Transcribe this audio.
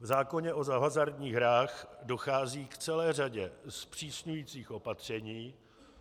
V zákoně o hazardních hrách dochází k celé řadě zpřísňujících opatření.